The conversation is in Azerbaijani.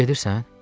Gedirsən?